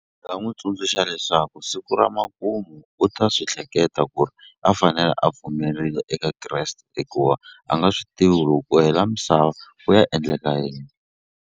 Nga n'wi tsundzuxa leswaku siku ra makumu u ta swi hleketa ku ri a fanele a pfumerile eka Kreste hikuva a nga swi tivi ku loko ku hela misava ku ya endleka yini.